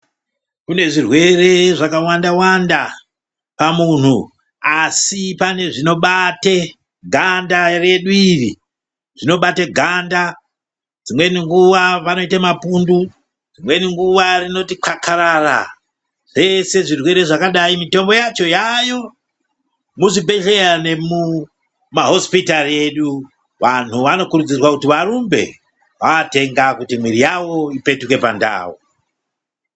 Kune zvirwere zvakawanda-wanda pamunhu, asi pane zvinobate ganda redu iri, zvinobate ganda. Dzimweni nguva vanoite mapundu, dzimweni nguva rinoti kakarara. Zvese zvirwere zvakadai mitombo yacho yaayo muzvibhedhleya nemumahosipitari edu. Vanhu vanokurudzirwa kuti varumbe vaatenga kuti miiri yavo ipetuke pandau.